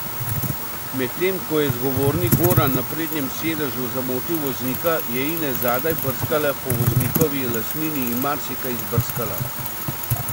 Medtem ko je zgovorni Goran na prednjem sedežu zamotil voznika, je Ines zadaj brskala po voznikovi lastnini in marsikaj izbrskala.